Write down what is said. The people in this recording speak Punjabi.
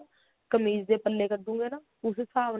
ਕਮੀਜ ਦੇ ਪੱਲੇ ਕੱਢੁਗੇ ਨਾ ਉਸਦੇ ਸਾਬ ਨਾਲ